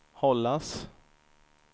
hållas